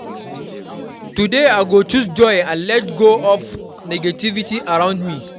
Today, I go choose joy and let go of negativity around me.